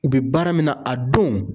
U biɛ baara min na a don